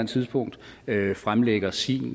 tidspunkt fremlægger sin